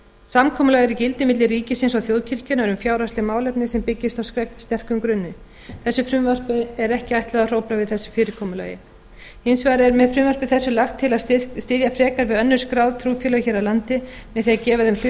samkomulag er í gildi milli ríkisins og þjóðkirkjunnar um fjárhagsleg málefni sem byggist á sterkum grunni þessu frumvarpi er ekki ætlað að hrófla við þessu fyrirkomulagi hins vegar er með frumvarpi þessu lagt til að styðja frekar við önnur skráð trúfélög hér á landi með því að gefa þeim